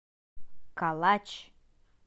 калач